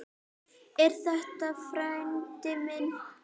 Er þetta frændi minn?